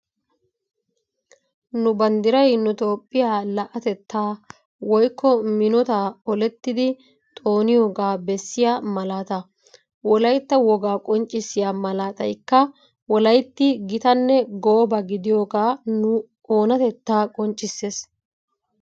Nu banddiray nu toophiya la'atettaa woyikko minotaa olettidi xooniyoogaa bessiya malaataa. Wolayitta wogaa qonccissiya malaatayikka wolayitti gitanne gooba gidiyoogaa nu oonatettaa qonccisses.